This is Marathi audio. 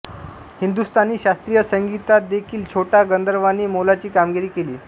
हिंदुस्थानी शास्त्रीय संगीतातदेखील छोटा गंधर्वांनी मोलाची कामगिरी केली